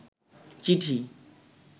চিঠি